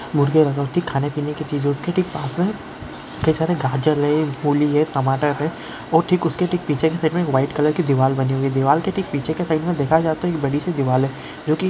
मुर्गी खाने पीने की चीजों के ठीक पास में गाजर है मूली है टमाटर हैं और ठीक उसके ठीक पीछे के साइड में वाइट कलर की दीवार बनी हुई दीवार के ठीक पीछे के साइड में देखा जाता हैं। एक बड़ी से दिवाल--